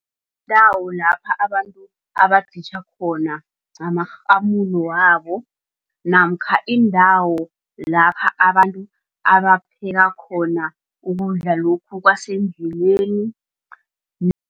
Iindawo lapha abantu abaditjha khona ngamarhamulo wabo namkha iindawo lapha abantu abapheka khona ukudla lokhu kwasendleleni